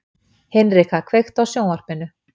Hinrikka, kveiktu á sjónvarpinu.